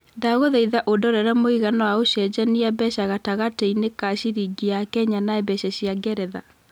ndagũthaĩtha ũndorere mũigana wa ũcejanĩa mbeca gatagatĩinĩ ka ciringi ya Kenya na mbeca cia ngeretha